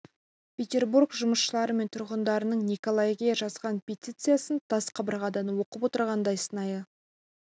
петербург жұмысшылары мен тұрғындарының николай ге жазған петициясын тас қабырғадан оқып отырғандай сынайы